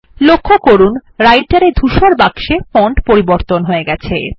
লক্ষ্য করুন Writer এ ধূসর বাক্সে ফন্ট পরিবর্তন হয়ে গেছে